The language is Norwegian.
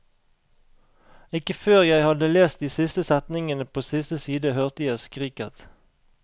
Ikke før jeg hadde lest de siste setningene på siste side hørte jeg skriket.